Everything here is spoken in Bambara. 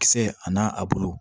Kisɛ a n'a a bulu